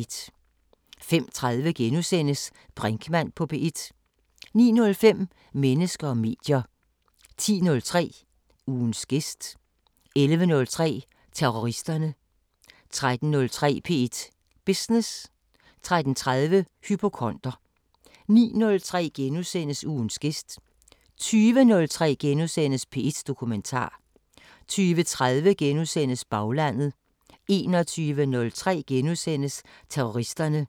05:30: Brinkmann på P1 * 09:05: Mennesker og medier 10:03: Ugens gæst 11:03: Terroristerne 13:03: P1 Business 13:30: Hypokonder 19:03: Ugens gæst * 20:03: P1 Dokumentar * 20:30: Baglandet * 21:03: Terroristerne *